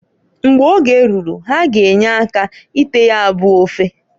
Mgbe oge ruru ha g' enye aka ite ya bụ ofe.